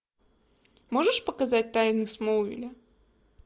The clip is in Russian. можешь показать тайны смолвиля